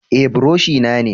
Eh buroshi na ne.